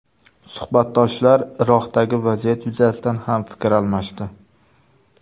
Suhbatdoshlar Iroqdagi vaziyat yuzasidan ham fikr almashdi.